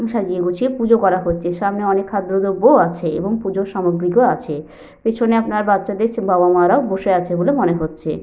সাজিয়ে গুছিয়ে পুজো করা হচ্ছে। সামনে অনেক খাদ্য দ্রব্যও আছে এবং পুজোর সামগ্রীও আছে। পিছনে আপনার বাচ্ছাদের বাবা-মা রাও বসে আছে বলে মনে হচ্ছে।